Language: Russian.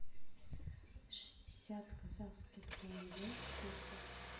шестьдесят казахских тенге в песо